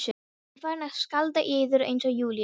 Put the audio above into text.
Ég farin að skálda í eyður eins og Júlía?